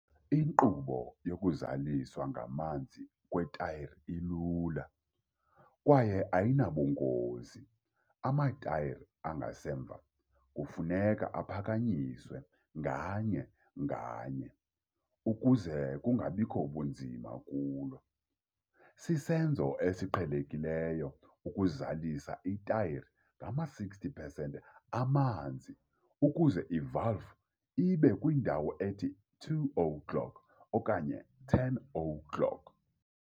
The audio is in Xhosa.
Inkqubo yokuzaliswa ngamanzi kwetayara ilula kwaye ayinabugocigoci. Amatayara angasemva kufuneka aphakanyiswe nganye nganye ukuze kungabikho bunzima kulo. Sisenzo esiqhelekileyo ukuzalisa itayara ngama-60 pesenti amanzi ukuze ivalvu ibe kwindawo ethi 2 o'clock okanye 10 o'clock.